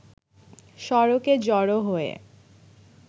সড়কে জড়ো হয়ে